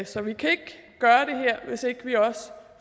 så vi kan ikke gøre det her hvis ikke vi også